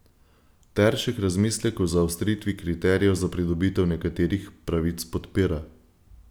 Teršek razmislek o zaostritvi kriterijev za pridobitev nekaterih pravic podpira.